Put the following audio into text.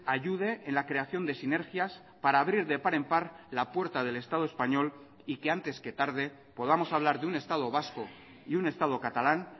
ayude en la creación de sinergias para abrir de par en par la puerta del estado español y que antes que tarde podamos hablar de un estado vasco y un estado catalán